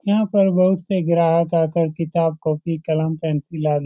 यहां पर बहुत से ग्राहक आकर किताब कॉपी कलम पेंसिल आदि।